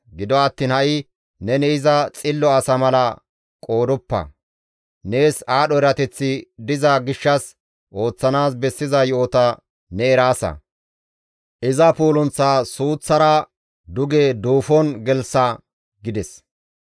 Gido attiin ha7i neni iza xillo asa mala qoodoppa; nees aadho erateththi diza gishshas ooththanaas bessiza yo7ota ne eraasa; iza puulunththaa suuththara duge duufon gelththa» gides.